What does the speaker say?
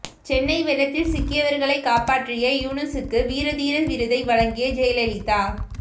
சென்னை வெள்ளத்தில் சிக்கியவர்களை காப்பாற்றிய யூனுசுக்கு வீரதீர விருதை வழங்கிய ஜெயலலிதா